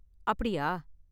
அப்டியா?